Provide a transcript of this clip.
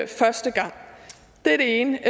første gang det er det ene